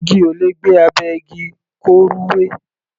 Igi ò lè gbé abẹ́ igi, kó rúwé.